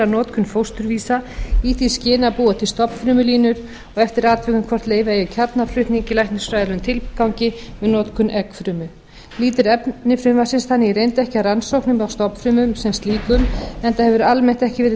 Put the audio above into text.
notkun fósturvísa í því skyni að búa til stofnfrumulínur og eftir atvikum hvort leyfa eigi kjarnaflutning í læknisfræðilegum tilgangi með notkun eggfrumu lýtur efni frumvarpsins þannig í reynd ekki að rannsóknum á stofnfrumum sem slíkum enda hefur almennt ekki verið